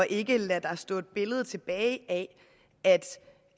ikke lader der stå et billede tilbage af